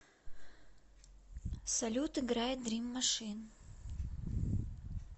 салют играй дрим машин